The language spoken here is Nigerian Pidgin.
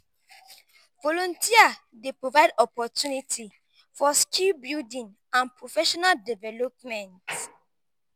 volunteer dey provide opportunity for skill building and professional development.